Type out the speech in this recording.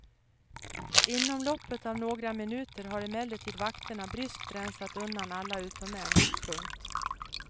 Inom loppet av några minuter har emellertid vakterna bryskt rensat undan alla utom en. punkt